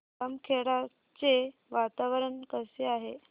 बामखेडा चे वातावरण कसे आहे